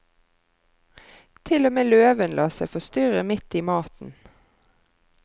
Til og med løven lar seg forstyrre midt i maten.